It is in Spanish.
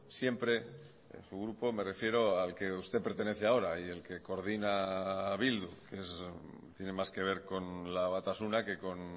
siempre su grupo me refiero al que usted pertenece ahora y el que coordina a bildu tiene más que ver con la batasuna que con